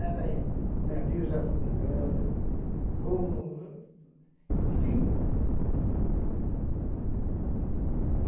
Eram navios afundando, bum! Enfim.